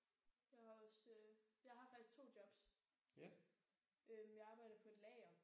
Jeg har også jeg har faktisk 2 jobs. Øh jeg arbejder på et lager